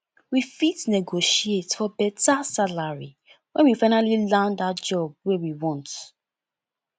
we fit negotiate for beta salary when we finally land that job wey we want